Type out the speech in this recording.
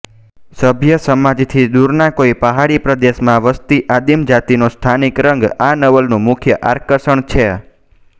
સભ્ય સમાજથી દૂરના કોઈ પહાડી પ્રદેશમાં વસતી આદિમજાતિનો સ્થાનિક રંગ આ નવલનું મુખ્ય આકર્ષણ છે